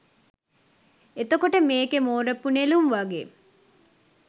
එතකොට මේකේ මෝරපු නෙළුම් වගේ